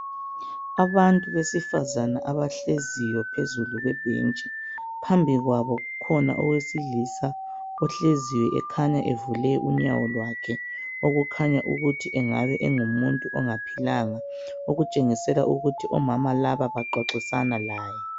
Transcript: Abantu besifazana abahleziyo phezulu kwebhentshi phambi kwabo kukhona owesilisa ohleziyo ekhanya evule unyawo lwakhe okukhanya ukuthi engabe engumuntu ongaphilanga okutshengisela ukuthi omama laba bengabe bexoxa laye.